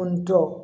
N tɔ